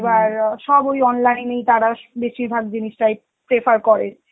এবার সব ওই online এই তারা বেশিরভাগ জিনিসটাই prefer করে